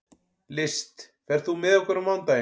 List, ferð þú með okkur á mánudaginn?